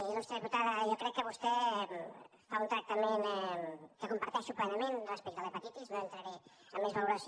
iltada jo crec que vostè fa un tractament que comparteixo plenament respecte a l’hepatitis no entraré a més valoració